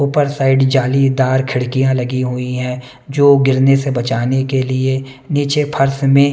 ऊपर साइड जालीदार खिड़कियाँ लगी हुई हैं जो गिरने से बचाने के लिए नीचे फर्स में --